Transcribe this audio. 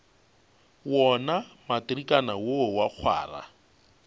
wona matrikana wo wa kgwara